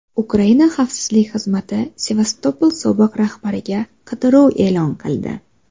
Ukraina Xavfsizlik Xizmati Sevastopol sobiq rahbariga qidiruv e’lon qildi.